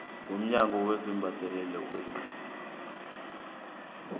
womnyaka wesibhedlela wer